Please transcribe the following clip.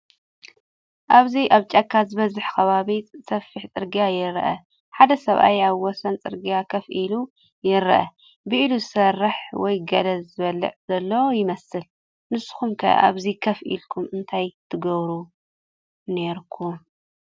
ኣብዚ ኣብ ጫካ ዝበዝሖ ከባቢ ጸፍሕ ጽርግያ ይርአ። ሓደ ሰብኣይ ኣብ ወሰን ጽርግያ ኮፍ ኢሉ ይረአ፡ ብኢዱ ዝሰርሕ ወይ ገለ ዝበልዕ ዘሎ ይመስል። ንስኩም ከ ኣብዚ ኮፍ ኢልኩም እንታይ ክትገብሩ ነይርኩም?